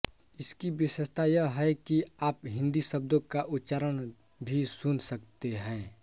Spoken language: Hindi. इसकी विशेषता यह भी है कि आप हिंदी शब्दों का उच्चारण भी सुन सकते है